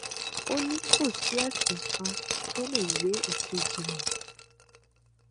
ó ní kò sí ẹsìn kan tó lè gbé èkejì mi